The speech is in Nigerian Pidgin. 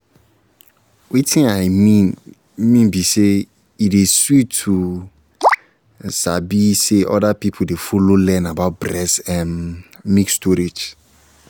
wetin i mean mean be say e dey sweet to sabi say other people dey follow learn about breast ehm milk storage